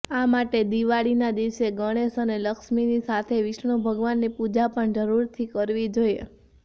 આ માટે દિવાળીના દિવસે ગણેશ અને લક્ષ્મીની સાથે વિષ્ણુ ભગવાનની પૂજા પણ જરૂરથી કરવી જોઈએ